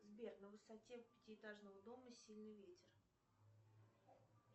сбер на высоте пятиэтажного дома сильный ветер